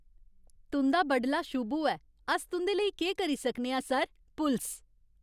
तुं'दा बडला शुभ होऐ। अस तुं'दे लेई केह् करी सकने आं, सर? पुलस